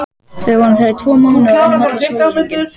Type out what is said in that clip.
Við vorum þar í tvo mánuði og unnum allan sólarhringinn.